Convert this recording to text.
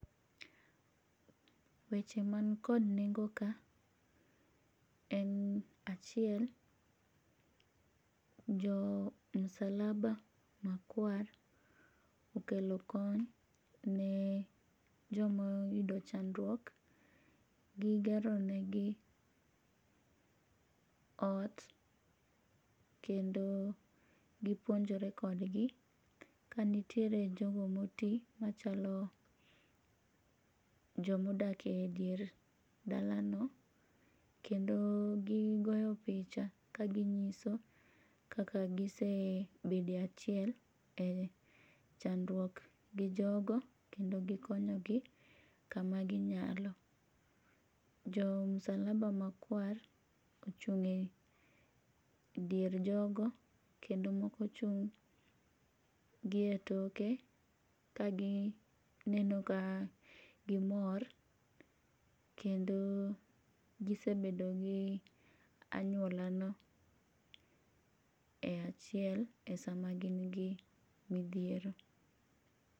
Weche ma nikod nengo ka, en achiel jo msalaba makwar okelo kony ne joma oyudo chandruok, gigeronegi ot, kendo gipuonjore kodgi, kanitiere jogo moti machalo joma odakie e dier dalano, kendo gigoyo picha kaginyiso kaka gisebedie achiel e chandruok gi jogo kendo gikonyogi kama ginyalo. Jo msalaba makwar ochung'e e dier jogo kendo moko ochung' gie toke kagineno ka gimor kendo gisebedo gi anyuolano e achiel e sama gingi mithiero.